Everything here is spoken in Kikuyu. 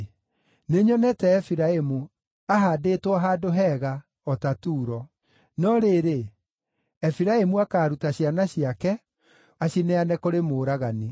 Nĩnyonete Efiraimu, ahaandĩtwo handũ hega, o ta Turo. No rĩrĩ, Efiraimu akaaruta ciana ciake, acineane kũrĩ mũũragani.”